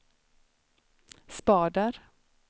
spader